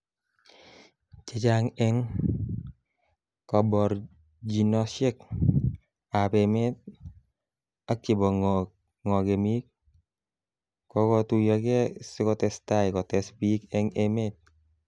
Chechang eng kaborjinoshek ab emet ak chebo ngokemik kokotuyokei sikotestai kotes bik eng emet.